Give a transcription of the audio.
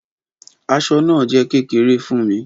Aṣọ naa jẹ kekere fun mi.